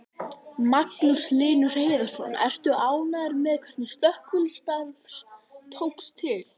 Magnús Hlynur Hreiðarsson: Ertu ánægður með hvernig slökkvistarf tókst til?